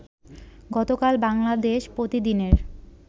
গতকাল বাংলাদেশ প্রতিদিনের